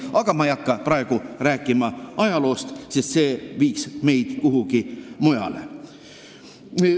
Aga ma ei hakka praegu rääkima ajaloost, sest see viiks meid teemast kõrvale.